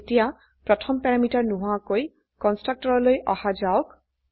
এতিয়া প্ৰথমে প্যাৰামিটাৰ নোহোৱাকৈ কন্সট্ৰকটৰলৈ আহা যাওক